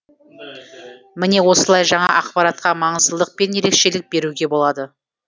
міне осылай жаңа ақпаратқа маңыздылық пен ерекшілік беруге болады